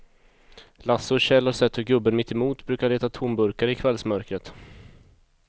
Lasse och Kjell har sett hur gubben mittemot brukar leta tomburkar i kvällsmörkret.